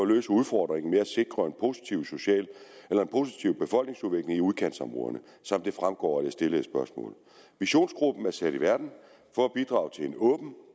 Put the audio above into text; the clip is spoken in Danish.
løse udfordringen med at sikre en positiv befolkningsudvikling i udkantsområderne som det fremgår af det stillede spørgsmål visionsgruppen er sat i verden for at bidrage til en åben